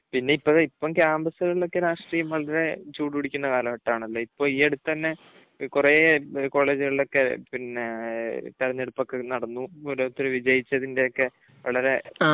പിന്നെ ഇപ്പഴ്, ഇപ്പം ക്യാമ്പസുകളിൽ ഒക്കെ രാഷ്ട്രീയം വളരെ ചൂടുപിടിക്കുന്ന കാലഘട്ടം ആണല്ലോ. ഇപ്പോൾ ഈ അടുത്ത് തന്നെ കുറേ കോളേജുകളിൽ ഒക്കെ പിന്നെ, തിരഞ്ഞെടുപ്പ് ഒക്കെ നടന്നു. ഓരോരുത്തർ വിജയിച്ചതിന്റെ ഒക്കെ വളരെ